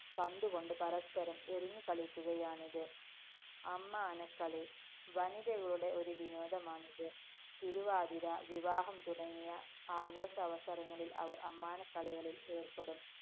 പന്തുകൊണ്ട് പരസ്പരം എറിഞ്ഞു കളിക്കുകയാണിത്. അമ്മാനക്കളി. വനിതകളുടെ ഒരു വിനോദമാണിത്. തിരുവാതിര, വിവാഹം തുടങ്ങിയ ആഘോഷാവസരങ്ങളില്‍ അവര്‍ അമ്മാനക്കളികളില്‍ ഏര്‍പ്പെടും.